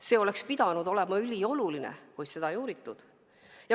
See oleks pidanud olema ülioluline, kuid seda ei uuritud.